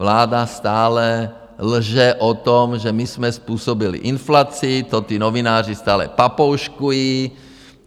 Vláda stále lže o tom, že my jsme způsobili inflaci, to ti novináři stále papouškují.